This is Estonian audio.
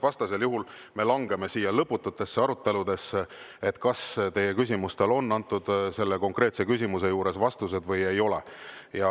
Vastasel juhul me langeme siin lõpututesse aruteludesse selle üle, kas teie küsimustele on antud konkreetseid vastuseid või ei ole.